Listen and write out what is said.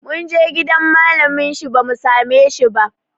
Mun je gidan malamin shi bamu same shi ba